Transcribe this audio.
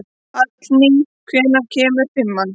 Hallný, hvenær kemur fimman?